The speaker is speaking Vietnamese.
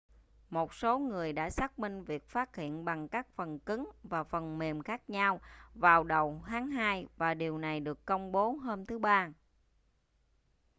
một số người đã xác minh việc phát hiện bằng các phần cứng và phần mềm khác nhau vào đầu tháng hai và điều này được công bố hôm thứ ba